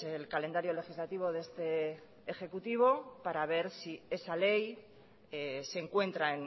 el calendario legislativo de este ejecutivo para ver si esa ley se encuentra